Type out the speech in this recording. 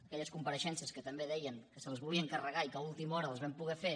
aquelles compareixences que també deien que se les volien carregar i que a última hora les vam poder fer